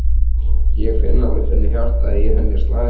Ég finn alveg hvernig hjartað í henni slær.